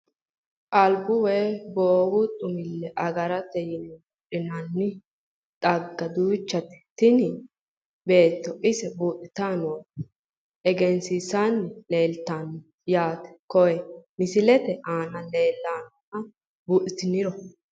anbu woy gogu xumille agarate yine buudhinanni xagga duuchate tini beetto ise buudhitannore egensiisanni leeltanno yaate, konne misilete aana leelannoha buudhiniro.